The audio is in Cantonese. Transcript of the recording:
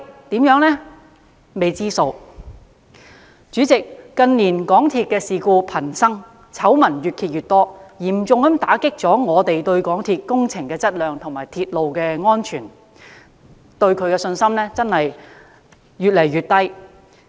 代理主席，港鐵近年事故頻生，醜聞越揭越多，嚴重打擊我們對港鐵公司的工程質量和鐵路安全的信心，信心越來越少。